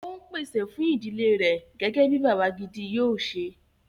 O ń pèsè fún ìdílé rẹ̀ gẹ́gẹ́ bí bàbá gidi yóò ṣẹ